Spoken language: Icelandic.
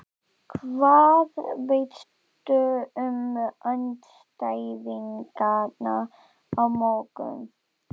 Hvað veistu um andstæðingana á morgun?